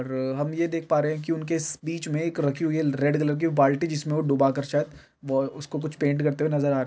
और हम ये देख पा रहे है की उनके बीच मे रखी हुई है रेड कलर की एक बाल्टी जिसमें वो डूबाकर शायद बो उसको कुछ पेंट करते हुए नजर--